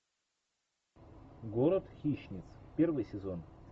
город хищниц первый сезон